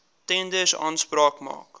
tenders aanspraak maak